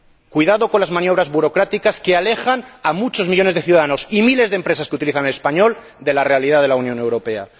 Cuidado con las maniobras burocráticas, que alejan a muchos millones de ciudadanos y a miles de empresas que utilizan el español de la realidad de la Unión Europea.